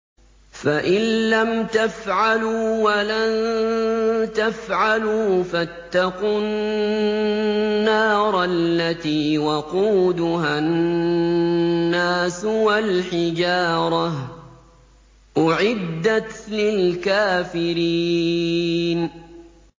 فَإِن لَّمْ تَفْعَلُوا وَلَن تَفْعَلُوا فَاتَّقُوا النَّارَ الَّتِي وَقُودُهَا النَّاسُ وَالْحِجَارَةُ ۖ أُعِدَّتْ لِلْكَافِرِينَ